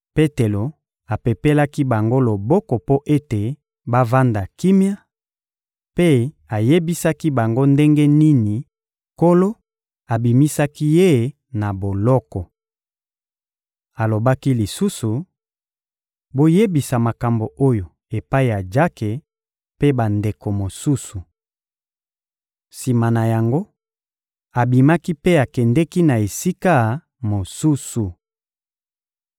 Petelo apepelaki bango loboko mpo ete bavanda kimia, mpe ayebisaki bango ndenge nini Nkolo abimisaki ye na boloko. Alobaki lisusu: — Boyebisa makambo oyo epai ya Jake mpe bandeko mosusu. Sima na yango, abimaki mpe akendeki na esika mosusu.